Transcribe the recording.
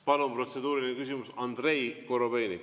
Palun, protseduuriline küsimus, Andrei Korobeinik!